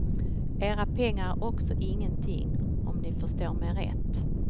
Era pengar är också ingenting, om ni förstår mig rätt.